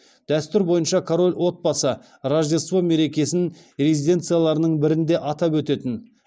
дәстүр бойынша король отбасы рождество мерекесін резиденцияларының бірінде атап өтетін